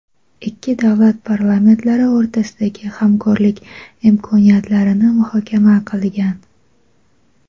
ikki davlat parlamentlari o‘rtasidagi hamkorlik imkoniyatlarini muhokama qilgan.